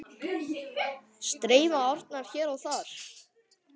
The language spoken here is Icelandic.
Streyma árnar hér og þar.